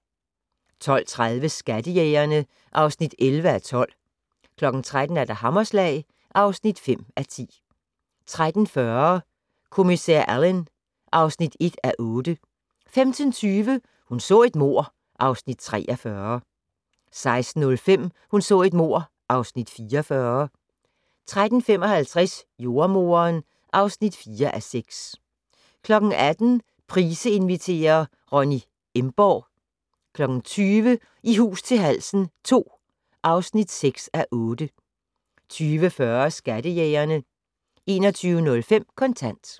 12:30: Skattejægerne (11:12) 13:00: Hammerslag (5:10) 13:40: Kommissær Alleyn (1:8) 15:20: Hun så et mord (Afs. 43) 16:05: Hun så et mord (Afs. 44) 16:55: Jordemoderen (4:6) 18:00: Price inviterer - Ronny Emborg 20:00: I hus til halsen II (6:8) 20:40: Skattejægerne 21:05: Kontant